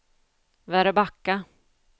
Väröbacka